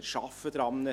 Wir arbeiten daran;